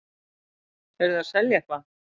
Eruð þið að selja eitthvað?